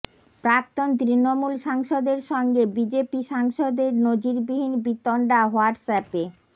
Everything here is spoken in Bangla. প্রাক্তন তৃণমূল সাংসদের সঙ্গে বিজেপি সাংসদের নজিরবিহীন বিতণ্ডা হোয়াটসঅ্যাপে